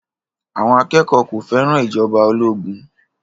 Àwọn akẹ́kọ̀ọ́ kò fẹ́ràn ìjọba ológun